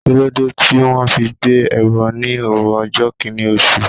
Kíló dé tí wón fi gbé ẹbọ ní òru ọjọ́ Kínní oṣù?